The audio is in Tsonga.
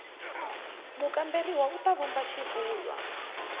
mukamberiwa u ta vumba xivulwa